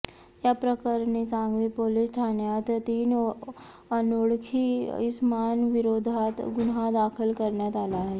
याप्रकरणी सांगवी पोलीस ठाण्यात तीन अनोळखी इसमांविरोधात गुन्हा दाखल करण्यात आला आहे